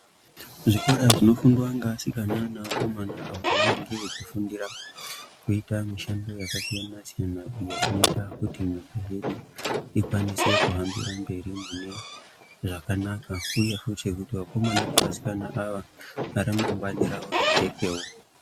Zvikora zvinofundwa ngeasikana neakomana apo vanenge vechifundira kuita mishando yakasiyanasiyana iyo zvinoita kuti nyika yedu ikwanise kuhambire mberi munezvakanaka, uye kuti vakomana ava nevasikana ava remangwani ravo rijekewo.